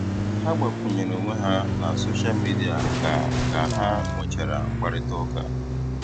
Ha gbàkwùnyèrè onwé ha na sóshal mìdia kà kà um ha nwechàra mkpáịrịtà ụ́ka.